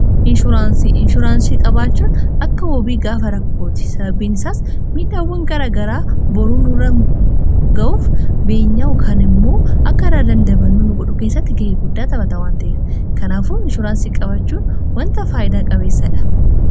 inshuraansii qabaachuun akka wobii gaafa rakkooti. sababiinsaas midhaawwan garagaraa boruu nurra ga'uuf beenyaa yookaan immoo akka irraa dandamannu nu godhu keessatti ga'ee guddaa xaphatawwan ta'ef kanaafuu inshuraansii qabaachuun wanta faayidaa qabeessadha.